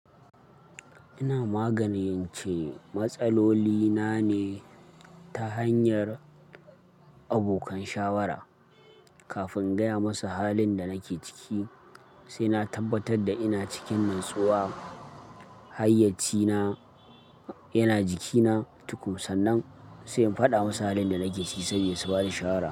Ina maganin ce matsaloli na ne ta hanyar abokan shawara. Kafin in gaya masa halin da nake ciki, sai na tabbatar da ina cikin natsuwa. Hayyaci na yana jikina tukum, sannan sai in faɗa musu halin da nake ciki sabida su ba ni shawara.